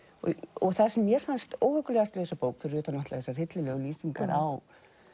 og það sem mér fannst óhuggulegast við þessa bók fyrir utan þessar hryllilegu lýsingar á